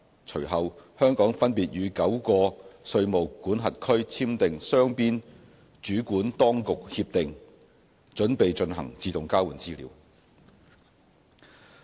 隨後，香港分別與9個稅務管轄區簽訂雙邊主管當局協定，準備進行自動交換資料。